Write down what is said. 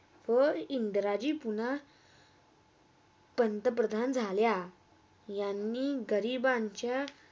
व इंदिराजी पुन्हा पंतप्रधान झाल्या यांनी गरिबांच्या.